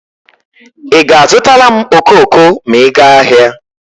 Ị ga-azụtala m okoko ma ị gaa ahịa.